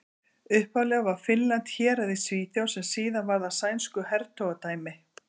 Upphaflega var Finnland hérað í Svíþjóð sem síðar varð að sænsku hertogadæmi.